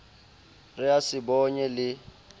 re a se bonye le